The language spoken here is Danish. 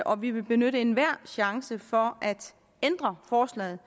og at vi vil benytte enhver chance for at ændre forslaget